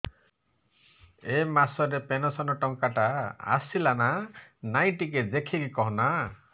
ଏ ମାସ ରେ ପେନସନ ଟଙ୍କା ଟା ଆସଲା ନା ନାଇଁ ଟିକେ ଦେଖିକି କହନା